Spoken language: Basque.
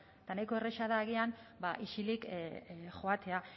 eta nahiko erraza da agian ba isilik joatea